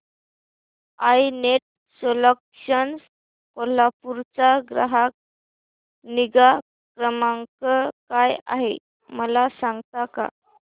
I net solutions Kolhapur चा ग्राहक निगा क्रमांक काय आहे मला सांगता का